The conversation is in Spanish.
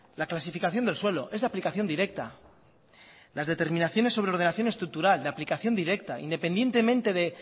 la clasificación del suelo es de aplicación directa las determinaciones sobre ordenación estructural de aplicación directa independientemente de